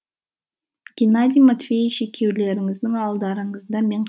геннадий матвеевич екеулеріңіздің алдарыңызда мен